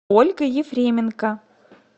ольга ефременко